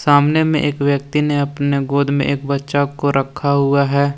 सामने में एक व्यक्ति ने अपने गोद में एक बच्चा को रखा हुआ है।